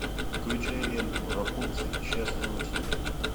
включай ленту рапунцель счастлива навсегда